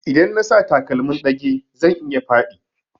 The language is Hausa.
Idan na sa takalmin ɗage zan iya faɗi